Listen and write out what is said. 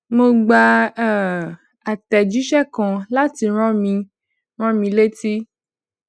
mo gba um atẹjiṣẹ kan láti rán mi rán mi létí